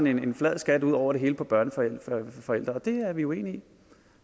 en flad skat ud over det hele på børneforældre og det er vi uenige i